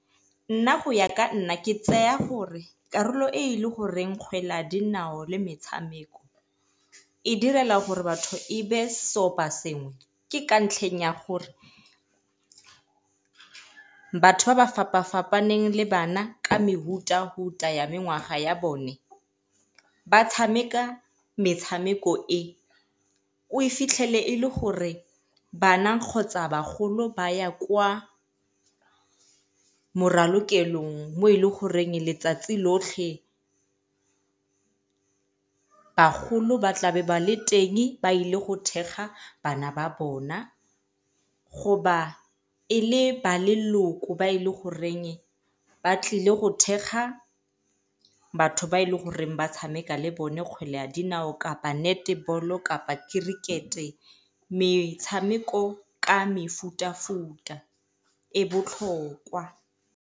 Nna go ya ka nna ke tseya gore karolo e e le goreng kgwele ya dinao le metshameko e direla gore batho e be seopasengwe ke ka ntlheng ya gore, batho ba ba fapa-fapaneng le bana ka ya mengwaga ya bone ba tshameka metshameko e, o fitlhele e le gore bana kgotsa bagolo ba ya kwa moralokelong mo e leng goreng letsatsi lotlhe bagolo ba tlabe ba le teng ba ile go thekga bana ba bona, e le ba leloko ba e leng goreng ba tlile go thekga batho ba e leng gore ba tshameka le bone kgwele ya dinao, kapa kapa metshameko ka mefutafuta e botlhokwa.